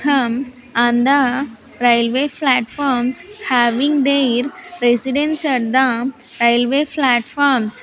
um on the railway platforms having their residence at the railway platforms.